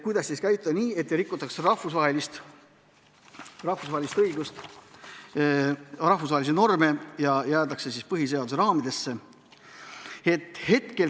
Kuidas siis tegutseda nii, et ei rikutaks rahvusvahelist õigust, rahvusvahelisi norme ja jäädaks meie põhiseaduse raamidesse?